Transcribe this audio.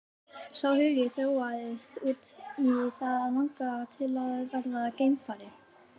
Sá áhugi þróaðist út í það að langa til að verða geimfari.